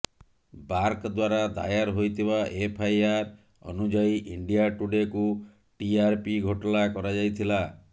BARC ଦ୍ୱାରା ଦାୟର ହୋଇଥିବା ଏଫଆଇଆର ଅନୁଯାୟୀ ଇଣ୍ଡିଆ ଟୁଡେକୁ ଟିଆରପି ଘୋଟାଲା କରାଯାଇଥିଲା